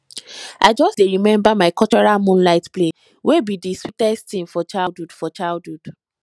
i just dey remember my cultural moonlight play wey be di sweetest ting for childhood for childhood